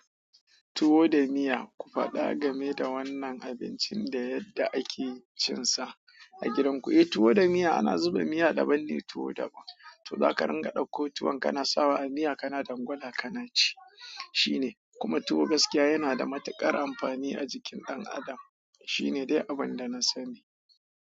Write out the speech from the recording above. Tuwo da miya, ku faɗa game da wannan abincin da yadda ake cin sa, a gidan ku. Eh, tuwo da miya ana zuba miya daban ne tuwo daban. To zaka ringa ɗauko tuwon kana sawa a miya kana dangwala kana ci. Shine, kuma tuwo gaskiya yana da matuƙar amfani a jikin ɗan adam. Shine dai abin da na sani.